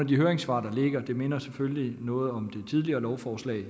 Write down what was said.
de høringssvar der ligger det minder selvfølgelig noget om det tidligere lovforslag og